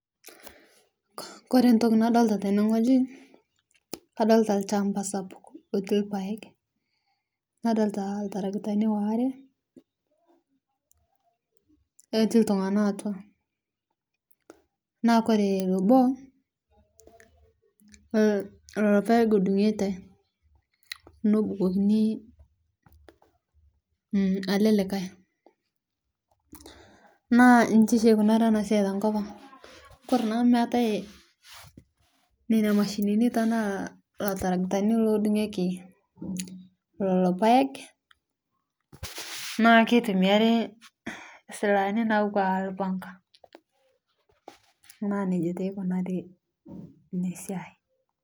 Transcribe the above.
Kore entoki nadolita tene wueji, nadolita olchamba sapuk lotii ilpaek. Nadolita oltrakitani waare otii iltung'ana atua, naa ore obo, ilpaek edung'ito nebukokini ele likai. Naa inji oshi eikunaari ena siai te enkop aang'. Kore taa amu meatai nena mashinini anaa iltarektani loodung'ieki lelo paek, naa keitumiai isilaani natua aanaa olpanga . Na neija taa eikunaari Ina siai.